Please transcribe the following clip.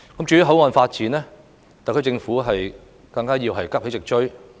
至於口岸發展，特區政府更要急起直追。